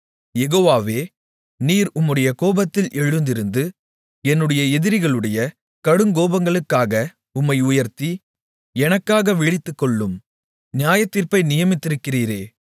யெகோவாவே நீர் உம்முடைய கோபத்தில் எழுந்திருந்து என்னுடைய எதிரிகளுடைய கடுங்கோபங்களுக்காக உம்மை உயர்த்தி எனக்காக விழித்துக்கொள்ளும் நியாயத்தீர்ப்பை நியமித்திருக்கிறீரே